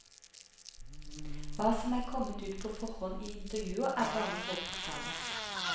Hva som er kommet ut på forhånd i intervjuer er bare forbokstaven.